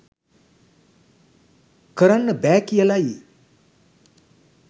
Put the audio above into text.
කරන්න බෑ කියලයි